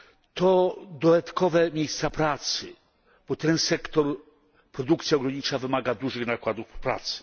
To dodatkowe miejsca pracy, bo ten sektor produkcja rolnicza wymaga dużych nakładów pracy.